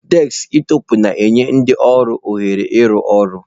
Deskịtọpụ na-enye ndị ọrụ ohere ịrụ ọrụ.